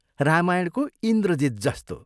रामायणको इन्द्रजित् जस्तो!